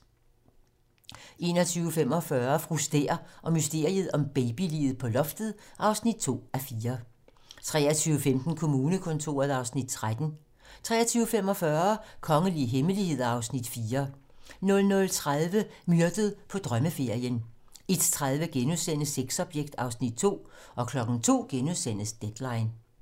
21:45: Fru Stæhr og mysteriet om babyliget på loftet (2:4) 23:15: Kommunekontoret (Afs. 13) 23:45: Kongelige hemmeligheder (Afs. 4) 00:30: Myrdet på drømmeferien 01:30: Sexobjekt (Afs. 2)* 02:00: Deadline *